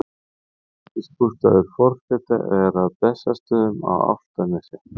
embættisbústaður forseta er að bessastöðum á álftanesi